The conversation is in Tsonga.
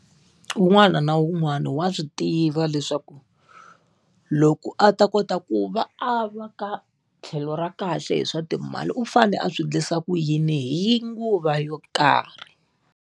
Wun'wana na wun'wana wa swi tiva leswaku loko a ta kota ku va a va ka tlhelo ra kahle hi swa timali u fane a swi endlisa ku yini hi nguva yo karhi.